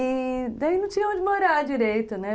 E... daí não tinha onde morar direito, né?